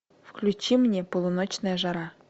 включи мне полуночная жара